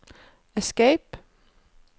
escape